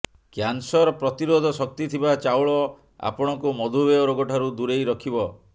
cancer ପ୍ରତିରୋଧ ଶକ୍ତିଥିବା ଚାଉଳ ଆପଣଙ୍କୁ ମଧୂମେହ ରୋଗ ଠାରୁ ଦୂରେଇ ରଖିବ